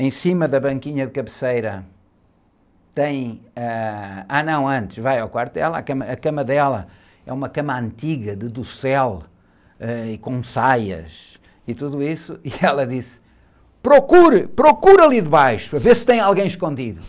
em cima da banquinha de cabeceira, tem, ãh, ah, não, antes, vai, é quarto dela, a cama, a cama dela é uma cama antiga, de docel, ãh, e com saias, e tudo isso, e ela disse, procure, procure ali debaixo, para ver se tem alguém escondido.